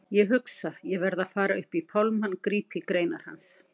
Ég hugsa: Ég verð að fara upp í pálmann, grípa í greinar hans.